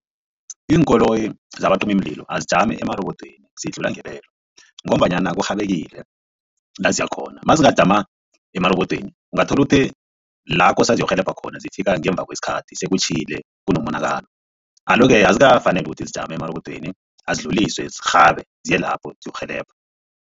Iinkoloyi zabacimimlilo azijami emarobodweni zidlula ngebelo ngombanyana kurhabekile laziyakhona mazingajama emarobodweni ungathola uthi la kose ziyokurhelebha khona zifika ngemva kwesikhathi sekutjhile kunomonakalo, alo-ke azikafaneli ukuthi zijame emarobodweni azidluliswe zirhabe ziyelapho ziyokurhelebha.